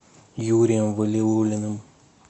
юрием валиуллиным